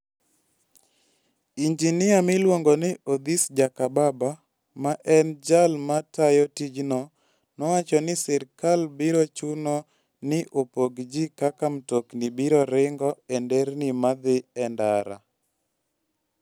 Injinia miluongo ni Odhis Jakababa, ma en jal ma tayo tijno, nowacho ni sirkal biro chuno ni opog ji kaka mtokni biro ringo e nderni ma dhi e ndara.